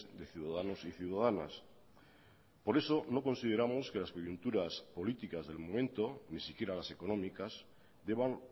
de ciudadanos y ciudadanas por eso no consideramos que las coyunturas políticas del momento ni siquiera las económicas deban